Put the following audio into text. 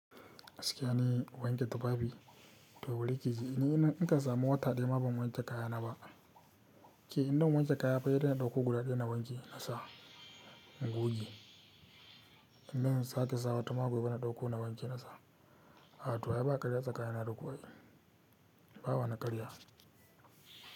Gaskiya ni wanke tufafi toh bari kiji, ni in ka samu wata daya ma ban wanke kaya na ba. Ke in dan wanke kaya fa sai dai in ɗauko guda ɗaya na wanke na sa, in goge. In dan sake sa wata ma gobe na ɗauko na wanke na sa. A to ai ba karya tsakani na daku ai, ba wa ni karya.